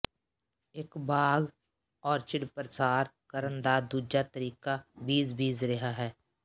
ਇੱਕ ਬਾਗ਼ ਔਰਚਿਡ ਪ੍ਰਸਾਰ ਕਰਨ ਦਾ ਦੂਜਾ ਤਰੀਕਾ ਬੀਜ ਬੀਜ ਰਿਹਾ ਹੈ